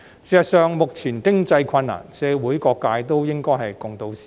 事實上，面對目前的經濟困難，社會各界都應該同渡時艱。